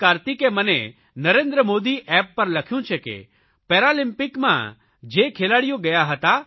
કાર્તિકે મને નરેન્દ્ર મોદી એપ પર લખ્યું છે કે પેરાલિમ્પિકમાં જે ખેલાડીઓ ગયા હતા